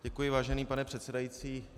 Děkuji, vážený pane předsedající.